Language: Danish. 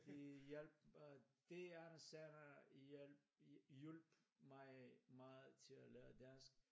Det hjalp at det Anders And hjalp hjulpet mig meget til at lære dansk